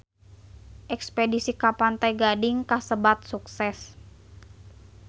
Espedisi ka Pantai Gading kasebat sukses